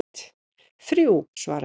Þrjú, svaraði ég.